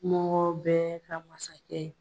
Mɔgɔ bɛɛ ka masakɛ ye.